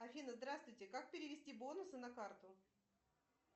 афина здравствуйте как перевести бонусы на карту